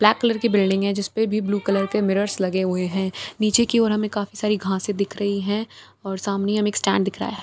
Black colour की building है जिसपे भी ब्‍लू कलर के मिरर्स लगे हुए हैं नीचे की ओर हमें काफी सारी घासें दिख रही हैं और सामने हमें एक स्‍टैंड दिख रहा है।